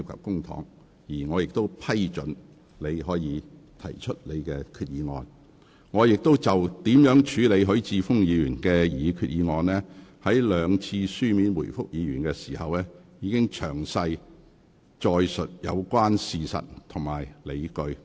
各位議員，就我如何處理許議員的擬議決議案，我在兩次書面回覆許議員時，已詳細載述有關事實及理據。